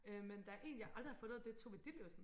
øh men der er en jeg aldrig har fundet og det er Tove Ditlevsen